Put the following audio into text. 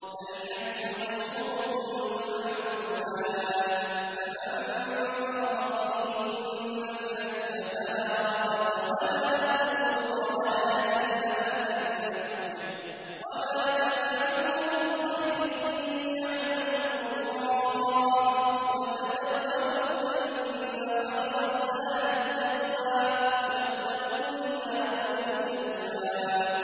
الْحَجُّ أَشْهُرٌ مَّعْلُومَاتٌ ۚ فَمَن فَرَضَ فِيهِنَّ الْحَجَّ فَلَا رَفَثَ وَلَا فُسُوقَ وَلَا جِدَالَ فِي الْحَجِّ ۗ وَمَا تَفْعَلُوا مِنْ خَيْرٍ يَعْلَمْهُ اللَّهُ ۗ وَتَزَوَّدُوا فَإِنَّ خَيْرَ الزَّادِ التَّقْوَىٰ ۚ وَاتَّقُونِ يَا أُولِي الْأَلْبَابِ